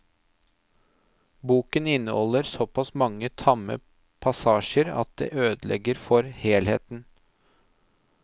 Boken inneholder såpass mange tamme passasjer at det ødelegger for helheten.